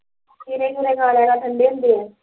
ਕੇਲੇ ਕੂਲੇ ਖਾ ਲਿਆ ਕਰ ਠੰਡੇ ਹੁੰਦੇ ਐ